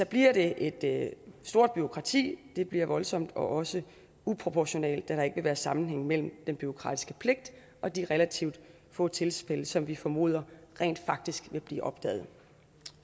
bliver det et stort bureaukrati det bliver voldsomt og også uproportionalt da der ikke vil være sammenhæng mellem den bureaukratiske pligt og de relativt få tilfælde som vi formoder rent faktisk vil blive opdaget